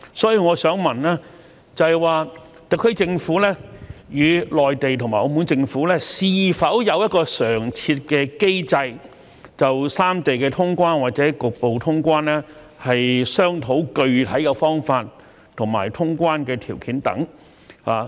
所以，我想問，特區政府與內地和澳門政府是否有常設的機制，就三地的通關或局部通關商討具體的方法和通關的條件等？